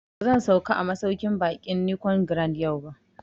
Ba zan sauka a masauƙin baƙin Nicon Grand yau ba